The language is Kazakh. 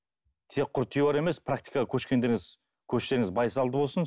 тек құр теория емес практикаға көшкендеріңіз көштеріңіз байсалды болсын